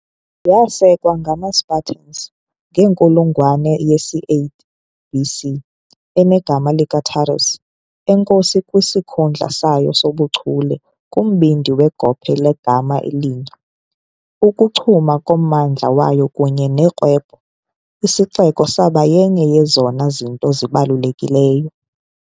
Yasekwa ngamaSpartans ngenkulungwane yesi-8 BC enegama likaTaras, enkosi kwisikhundla sayo sobuchule kumbindi wegophe legama elinye, ukuchuma kommandla wayo kunye norhwebo, isixeko saba yenye yezona zinto zibalulekileyo.